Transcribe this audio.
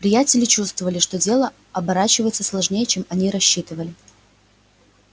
приятели чувствовали что дело оборачивается сложнее чем они рассчитывали